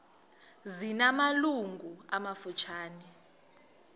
zina malungu amafutshane